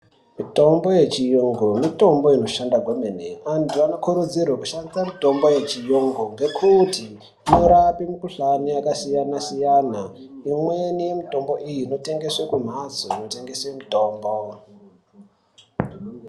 Mutombo yechiyungu mitombo inoshande kwemene. Vantu vanokurudzirwe kushandisa mitombo yechiyungu inorape mikhuhlane yakasiyana siyana. Imweni yemitombo iyi inotengeswa kumhatso inotengese mitombo.